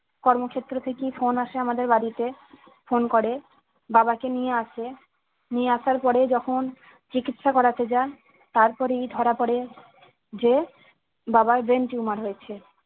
কর্মক্ষেত্র থেকেই phone আসে আমাদের বাড়িতে phone করে বাবাকে নিয়ে আসে নিয়ে আসার পরে যখন চিকিৎসা করাতে যায় তারপরেই ধরা পরে যে বাবার brain tumor হয়েছে